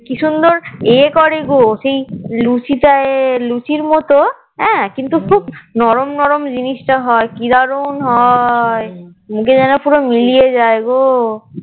আমার মা তো আবার সেই কি সুন্দর ইয়ে করে গো সেই লুচি তাই লুচির মতো হ্যাঁ কিন্তু খুব নরম নরম জিনিসটা হয় কি দারুন হয় মুখে জানি পুরো মিলিয়ে যায় গো